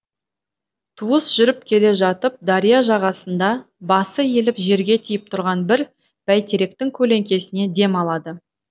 туыс жүріп келе жатып дария жағасында басы иіліп жерге тиіп тұрған бір бәйтеректің көлеңкесіне дем алады